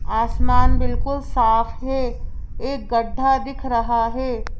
आसमान बिल्कुल साफ है एक गड्ढा दिख रहा है।